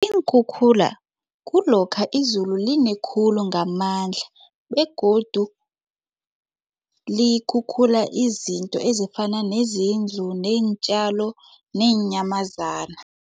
Iinkhukhula kulokha izulu linekhulu ngamandla begodu likhukhula izinto ezifana nezindlu neentjalo neenyamazana.